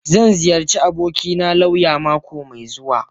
Zan ziyarci abokina lauya mako mai zuwa.